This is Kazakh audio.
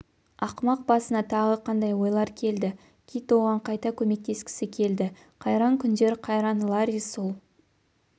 ақымақ басына тағы қандай ойлар келді кит оған қайта көмектескісі келді қайран күндер қайран ларри сол